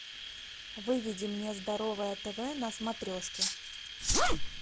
выведи мне здоровое тв на смотрешке